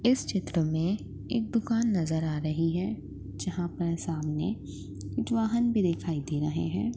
इस चित्र मे एक दुकान नजर आ रही है जहापर सामने कुछ वाहन भी दिखाई दे रहे है।